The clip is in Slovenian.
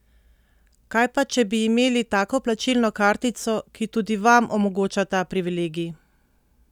Kaj pa, če bi imeli tako plačilno kartico, ki tudi vam omogoča ta privilegij?